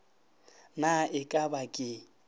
na e ka ba ke